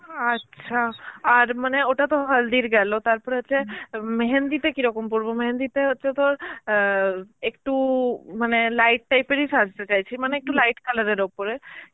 আচ্ছা আর মানে ওটা তো হালদির গেল তারপরে হচ্ছে মেহেন্দিতে কি রকম পরবো মেহেন্দিতে হচ্ছে তোর অ্যাঁ একটু মানে light type এরই সাজতে চাইছি মানে একটু light color এর ওপরে.